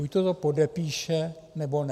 Buďto to podepíše, nebo ne.